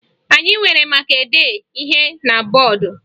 Anyị were maka dee ihe na bọọdụ